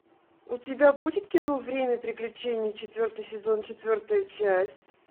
у тебя будет кино время приключений четвертый сезон четвертая часть